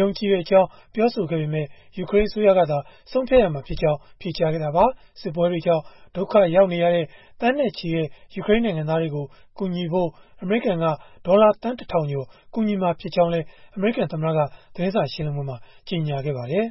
ယုံကြည်ကြောင်း ပြောဆိုခဲ့ပေမဲ့ ယူကရိန်း အစိုးရကသာ ဆုံးဖြတ်ရမှာဖြစ်ကြောင်း ဖြေကြားခဲ့တာပါ။ စစ်ပွဲတွေကြောင့် ဒုက္ခရောက်နေရတဲ့ သန်းနဲ့ချီတဲ့ ယူကရိန်းနိုင်ငံသားတွေကို ကူညီဖို့ အမေရိကန်က ဒေါ်လာသန်း ၁ ထောင်ကျော် ကူညီမှာဖြစ်ကြောင်းလည်း အမေရိကန်သမ္မတက သတင်းစာရှင်းလင်းပွဲမှာ ကြေညာခဲ့ပါတယ်